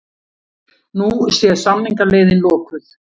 Nú sé samningaleiðin lokuð